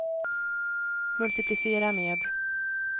multiplicera med